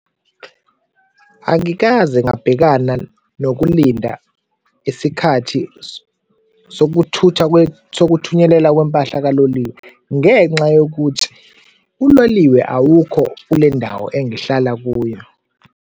Angikaze ngabhekana nokulinda isikhathi sokuthutha sokuthunyelelwa kwempahla kaloliwe ngenxa yokuthi uloliwe awukho kule ndawo engihlala kuyo.